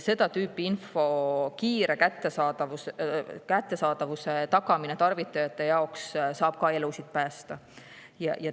Seda tüüpi info kiire kättesaadavuse tagamine tarvitajate jaoks saab ka elusid päästa.